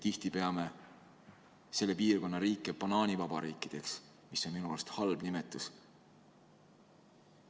Tihti peame selle piirkonna riike banaanivabariikideks, mis on minu arvates halb nimetus.